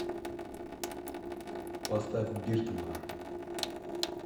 поставь биртмана